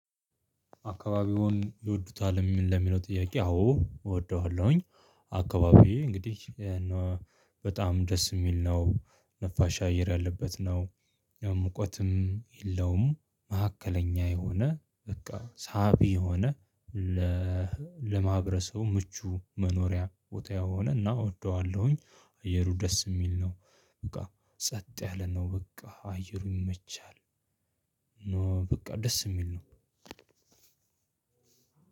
"አካባቢውን ይወዱታል?" ምን ለሚለው ጥያቄ አዎ! እወደዋለሁኝ። አካባቢዬ እንግዲህ እና በጣም ደስ የሚል ነው። ነፋሻ አየር ያለበት ነው፤ ያው ሙቀትም የለውም። መካከለኛ የሆነ፣ በቃ ሳቢ የሆነ ለማህበረሰቡ ምቹ መኖሪያ ቦታ የሆነና እወደዋለሁኝ አየሩ ደስ የሚል ነው። በቃ ጸጥ ያለ ነው! በቃ አየሩ ይመቻል። ነው በቃ ደስ የሚል ነው።